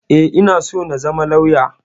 E, ina so na zama lauya.